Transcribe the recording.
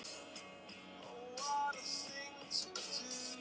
og já.